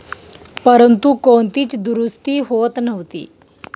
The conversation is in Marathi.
परंतु, कोणतीच दुरुस्ती होत नव्हती.